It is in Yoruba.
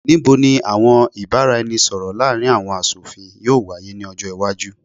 Nibo ni awọn ibaraẹnisọrọ laarin awọn aṣofin yoo waye ni ọjọ iwaju?